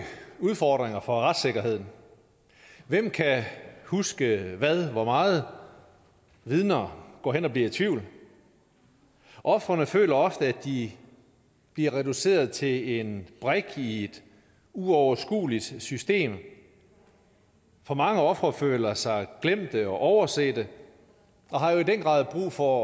udfordringer for retssikkerheden hvem kan huske hvad og hvor meget vidner går hen og bliver i tvivl ofrene føler ofte at de bliver reduceret til en brik i et uoverskueligt system for mange ofre føler sig glemte og oversete og har jo i den grad brug for